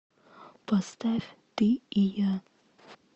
поставь ты и я